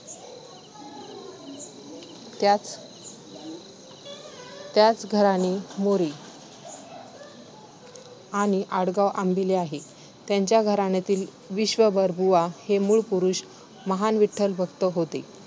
त्यांचे त्यांचे घराणे मोरे आणि आडनाव अंबिले आहे. त्यांच्या घराण्यातील विश्वंभरबुवा हे मूळ पुरुष महान विठ्ठलभक्त होते.